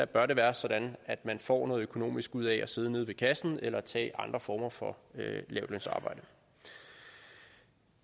bør det være sådan at man får noget økonomisk ud af at sidde nede i kassen eller tage andre former for lavtlønsarbejde